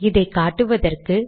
இதை காட்டுவதற்கு